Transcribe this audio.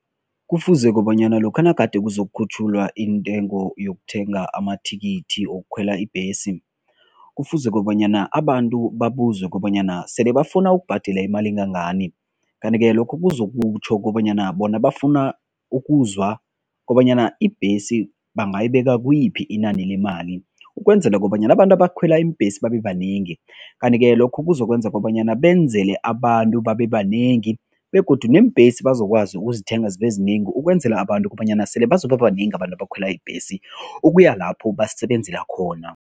Kufuze kobanyana lokha nagade kuzokukhutjhululwa intengo yokuthenga amathikithi wokukhwela ibhesi, kufuze kobanyana abantu babuzwe kobanyana sele bafuna ukubhadela imali engangani kanti-ke lokho kuzokutjho kobanyana bona bafuna ukuzwa kobanyana ibhesi bangayibeka kuyiphi inani lemali ukwenzela kobanyana abantu abakhwela iimbhesi babebanengi. Kanti-ke lokhu kuzokwenza kobanyana benzele abantu babebanengi begodu neembhesi bazokwazi ukuzithenga zibezinengi ukwenzela abantu kobanyana sele bazoba banengi abantu abakhwela ibhesi, ukuya lapho basebenzela khona.